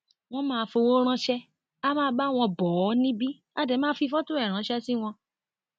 wọn máa fọwọ ránṣẹ á máa bá wọn bó o níbí á dé máa fi fọtò ẹ ránṣẹ sí wọn